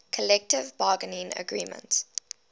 collective bargaining agreement